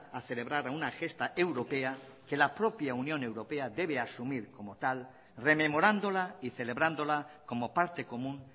a celebrar a una gesta europea que la propia unión europea debe asumir como tal rememorándola y celebrándola como parte común